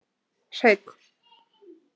Hreinn